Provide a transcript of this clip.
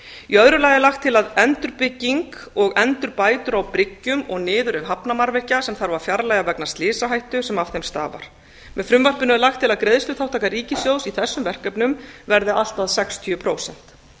í öðru lagi er lagt til að endurbygging og endurbætur á bryggjum og niðurrif hafnarmannvirkja sem þarf að fjarlægja vegna slysahættu sem af þeim stafar með frumvarpinu er lagt til að greiðsluþátttaka ríkissjóðs í þessum verkefnum verði allt að sextíu prósent